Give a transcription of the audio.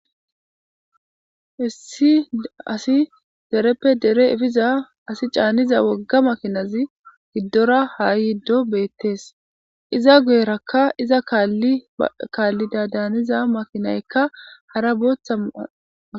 Hissi asi dereppe dere efiza asi caaniza wogga makinazi giddora haa yiddo beettees iza guyerakka iza kaallida daaniza makinaykka hara booththa maa.